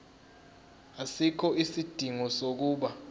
asikho isidingo sokuba